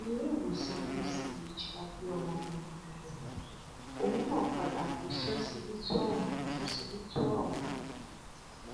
iléèwòsàn uch la gbé ọmọbìnrin yẹn lọ òun náà padà kú síọsibítù ọhún síọsibítù ọhún